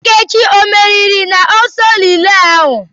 Nkechi ọ meriri n'ọsọ rilee ahu?